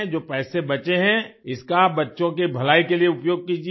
जो पैसे बचें हैं इसका बच्चों की भलाई के लिए उपयोग कीजिये